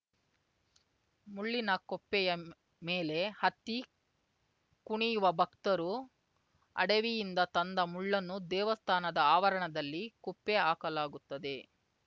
ಮುಳ್ಳಿನ ಕೊಪ್ಪೆಯ ಮೇಲೆ ಹತ್ತಿ ಕುಣಿಯುವ ಭಕ್ತರು ಅಡವಿಯಿಂದ ತಂದ ಮುಳ್ಳನ್ನು ದೇವಸ್ಥಾನದ ಆವರಣದಲ್ಲಿ ಕುಪ್ಪೆ ಹಾಕಲಾಗುತ್ತದೆ